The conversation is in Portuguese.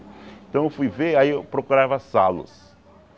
Então eu fui ver, aí eu procurava salos.